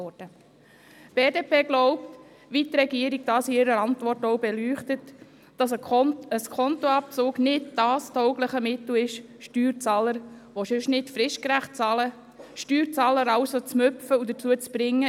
Die BDP glaubt, wie dies die Regierung in ihrer Antwort ausführt, dass ein Skontoabzug kein taugliches Mittel dafür ist, Steuerzahler, die nicht fristgerecht bezahlen, dazu zu ermutigen, innert 30 Tagen zu bezahlen.